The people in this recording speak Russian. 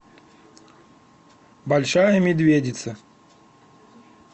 большая медведица